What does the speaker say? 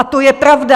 A to je pravda.